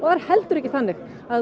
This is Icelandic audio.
er heldur ekki þannig að